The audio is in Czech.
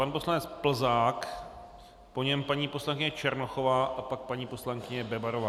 Pan poslanec Plzák, po něm paní poslankyně Černochová a pak paní poslankyně Bebarová.